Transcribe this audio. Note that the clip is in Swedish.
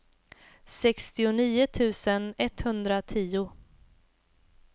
sextionio tusen etthundratio